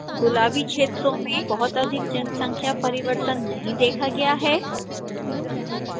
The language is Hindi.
गुलाबी क्षेत्रों में बहुत अधिक जनसंख्या परिवर्तन नहीं देखा गया है